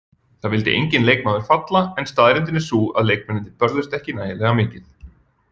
Það vildi enginn leikmaður falla en staðreyndin er sú að leikmennirnir börðust ekki nægilega mikið.